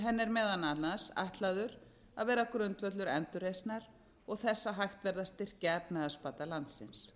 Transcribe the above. henni er meðal annars ætlaður að vera grundvöllur endurreisnar og þess að hægt verði að styrkja efnahagsbata landsins